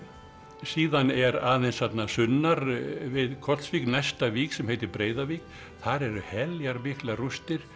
síðan er aðeins þarna sunnar við Kollsvík næsta vík sem heitir Breiðavík þar eru heljar miklar rústir